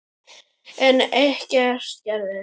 En ekkert gerist.